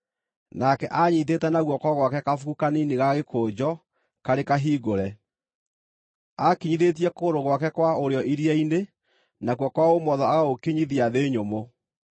Nake aanyiitĩte na guoko gwake kabuku kanini ga gĩkũnjo karĩ kahingũre. Aakinyithĩtie kũgũrũ gwake kwa ũrĩo iria-inĩ, nakuo kwa ũmotho agagũkinyithia thĩ nyũmũ,